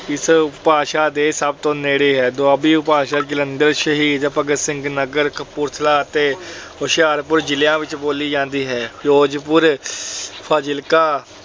ਇਸ ਭਾਸ਼ਾ ਦੇ ਸਭ ਤੋਂ ਨੇੜੇ ਹੈ। ਦੁਆਬੀ ਉਪਭਾਸ਼ਾ ਜਲੰਧਰ, ਸ਼ਹੀਦ ਭਗਤ ਸਿੰਘ ਨਗਰ, ਕਪੂਰਥਲਾ ਅਤੇ ਹੁਸ਼ਿਆਰਪੁਰ ਜ਼ਿਲ੍ਹਿਆਂ ਵਿੱਚ ਬੋਲੀ ਜਾਂਦੀ ਹੈ। ਫਿਰੋਜਪੁਰ, ਫਾਜਿਲਕਾ,